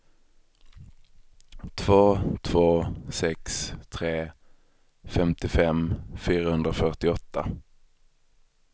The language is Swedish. två två sex tre femtiofem fyrahundrafyrtioåtta